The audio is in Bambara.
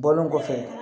Bɔlen kɔfɛ